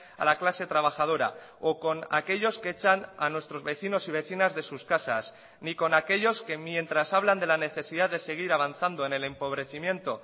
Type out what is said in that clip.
a la clase trabajadora o con aquellos que echan a nuestros vecinos y vecinas de sus casas ni con aquellos que mientras hablan de la necesidad de seguir avanzando en el empobrecimiento